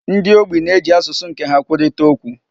Ndi ogbi na-eji asụsụ nke ha kwurịtaa okwu.